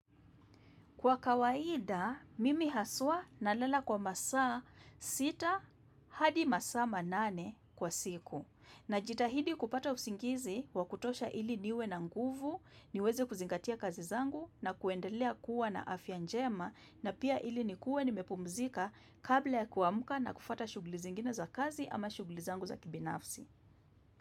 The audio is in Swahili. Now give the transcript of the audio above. Kwa kawaida, mimi haswa nalala kwa masaa sita hadi masaa manane kwa siku. Najitahidi kupata usingizi wakutosha ili niwe na nguvu, niweze kuzingatia kazi zangu na kuendelea kuwa na afya njema na pia ili nikue nimepumzika kabla ya kuamka na kufuata shughuli zingine za kazi ama shuguli zangu za kibinafsi.